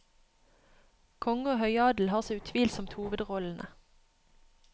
Konge og høyadel har så utvilsomt hovedrollene.